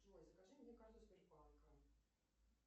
джой закажи мне карту сбербанка